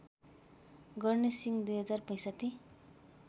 गर्ने सिंह २०६५